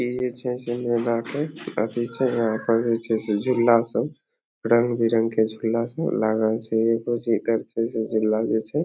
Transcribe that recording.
बाटे एथी छे कौंची छे झूला सब रंग-बिरंग के झूला सब लागल छे लाग्यो छे।